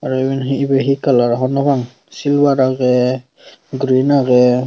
aro iben he he colour hobor nw pang silver age green age.